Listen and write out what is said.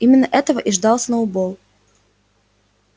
именно этого и ждал сноуболл